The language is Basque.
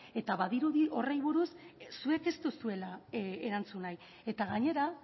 eta badirudi horri buruz zuek ez duzuela erantzun nahi eta gainera